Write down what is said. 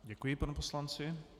Děkuji panu poslanci.